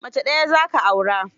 Mace ɗaya za ka aura?